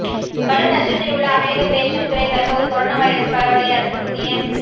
கடும் நஷ்டத்தில் உள்ள அமெரிக்க பேஷன் துறை தற்போது கொரோனா வைரஸ் பரவலை அடுத்து புதிய